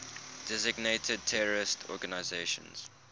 designated terrorist organizations